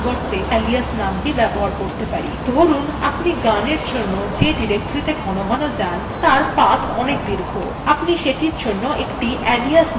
ধরুন আপনি গানের জন্য যে ডিরেক্টরীত়ে ঘনঘন যান তার path অনেক দীর্ঘ আপনি সেটির জন্য একটি alias নাম রাখতে পারেন